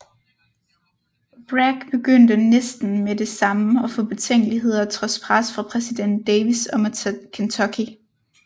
Bragg begyndte næsten med det samme at få betænkeligheder trods pres fra præsident Davis om at tage Kentucky